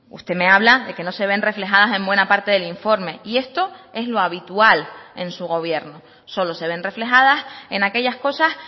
usted me habla de que no se ven reflejadas en buena parte del informe y esto es lo habitual en su gobierno solo se ven reflejadas en aquellas cosas